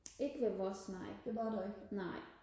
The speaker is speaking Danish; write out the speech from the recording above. ikke ved vores nej nej